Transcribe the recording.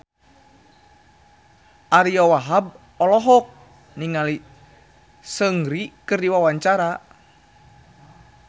Ariyo Wahab olohok ningali Seungri keur diwawancara